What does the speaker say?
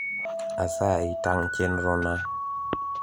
asayi tang` chenro na